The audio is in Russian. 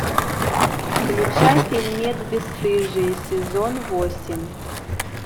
включай фильмец бесстыжие сезон восемь